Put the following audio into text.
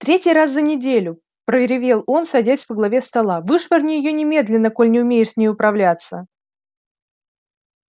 третий раз за неделю проревел он садясь во главе стола вышвырни её немедленно коль не умеешь с ней управляться